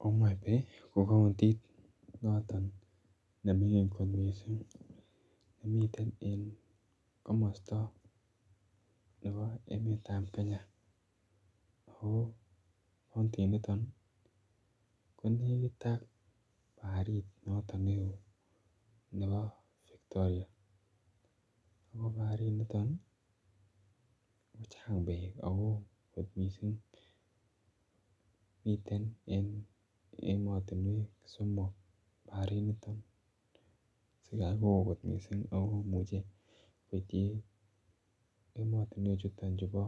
Homabay ko kountit noton ne mingin kot missing nemiten en komosto nebo emetab Kenya ako kauniti niton ko nekit ak barit noton ne oo nebo Victoria ako baharit niton kochang beek ako woo kot missing, miten en emotinwek somok bahari Niton sigai kowoo kot missing ako imuche koityi emotinwek chuton chu bo